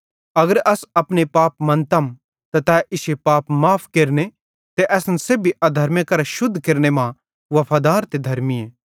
अगर अस अपने पाप मन्तम त तै इश्शे पाप माफ़ केरने ते असन सेब्भी अधर्मे करां शुद्ध केरने मां वफादार ते धर्मीए